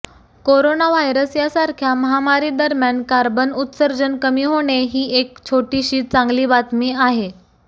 corona virus सारख्या महामारी दरम्यान कार्बन उत्सर्जन कमी होणे ही एक छोटीशी चांगली बातमी आहे